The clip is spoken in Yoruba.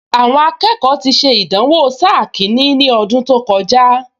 Àwọn akẹ́kọ̀ọ ti ṣe ìdánwò sáà kìíní ní ọdún tó kọjá